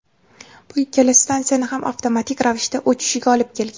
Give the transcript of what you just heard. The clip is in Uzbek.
bu ikkala stansiyani ham avtomatik ravishda o‘chishiga olib kelgan.